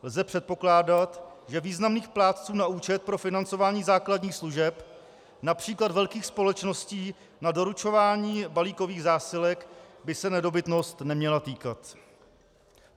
Lze předpokládat, že významných plátců na účet pro financování základních služeb, například velkých společností na doručování balíkových zásilek, by se nedobytnost neměla týkat.